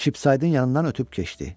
Çipsaydın yanından ötüb keçdi.